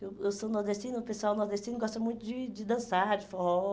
Eu eu sou nordestina, o pessoal nordestino gosta muito de de dançar, de forró.